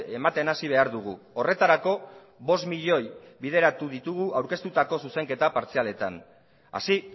ematen hasi behar dugu horretarako bost milioi bideratu ditugu aurkeztutako zuzenketa partzialetan así